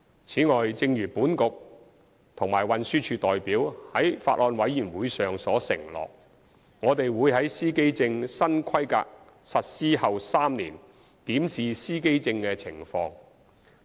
此外，正如本局及運輸署代表在法案委員會上所承諾，我們會於司機證新規格實施後3年檢視司機證的情況。